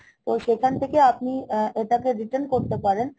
তো সেখান থেকে আপনি এটাকে return করতে পারেন